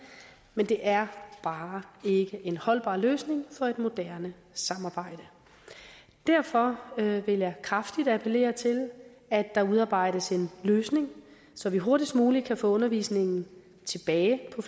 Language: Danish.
men det er bare ikke en holdbar løsning for et moderne samarbejde derfor vil jeg kraftigt appellere til at der udarbejdes en løsning så vi hurtigst muligt kan få undervisningen tilbage på